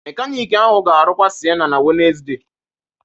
Mekaniki ahụ ga-arụkwa Sienna na Wednesde